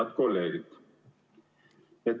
Head kolleegid!